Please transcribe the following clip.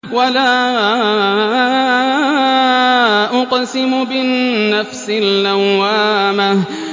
وَلَا أُقْسِمُ بِالنَّفْسِ اللَّوَّامَةِ